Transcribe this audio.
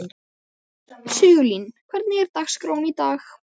Sigurlín, hvernig er dagskráin í dag?